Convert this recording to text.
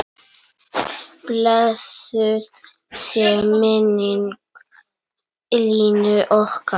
Blessuð sé minning Línu okkar.